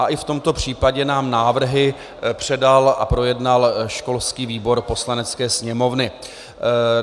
A i v tomto případě nám návrhy předal a projednal školský výbor Poslanecké sněmovny.